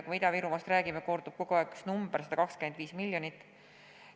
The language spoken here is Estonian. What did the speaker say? Kui me Ida-Virumaast räägime, kordub kogu aeg üks number – 125 miljonit.